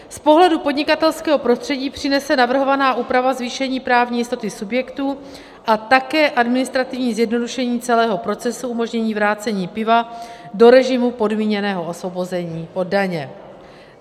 Z pohledu podnikatelského prostředí přinese navrhovaná úprava zvýšení právní jistoty subjektů a také administrativní zjednodušení celého procesu, umožnění vrácení piva do režimu podmíněného osvobození od daně.